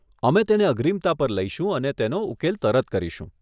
અમે તેને અગ્રીમતા પર લઈશું અને તેનો ઉકેલ તરત કરીશું.